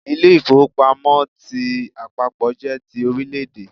Ilé-ìfowópamọ́ ti àpapọ̀ jé ti Orílẹ̀dè